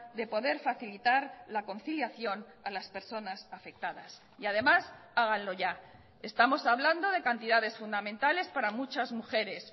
de poder facilitar la conciliación a las personas afectadas y además háganlo ya estamos hablando de cantidades fundamentales para muchas mujeres